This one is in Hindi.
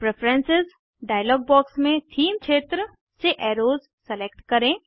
प्रेफरेन्सेस डायलॉग बॉक्स में थीम क्षेत्र से एर्रोस सेलेक्ट करें